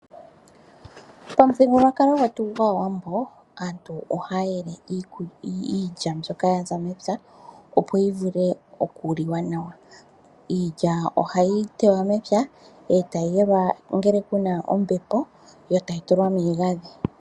Pamuthigululwakalo gwetu goshiwambo. Aantu ohaya yele iilya mbyoka ya za mepya opo yivule oku liwa. Iilya oha yi tewa mepya eta yi yungulwa, eta yi yelwa ngele kuna ombepo. Yo tayi tulwa miigandhi.